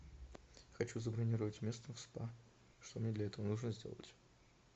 хочу забронировать место в спа что мне для этого нужно сделать